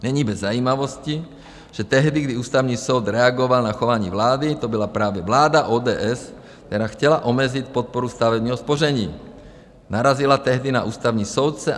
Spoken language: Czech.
Není bez zajímavosti, že tehdy, kdy Ústavní soud reagoval na chování vlády, to byla právě vláda ODS, která chtěla omezit podporu stavebního spoření, narazila tehdy na ústavní soudce.